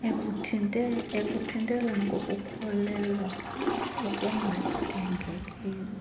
ekuthintelweni kokukhulelwa okungadingekiyo